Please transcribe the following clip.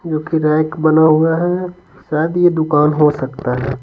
क्योंकि रैंक बना हुआ है शायद ये दुकान हो सकता है।